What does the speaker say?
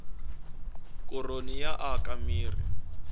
koroni yi aka mirhi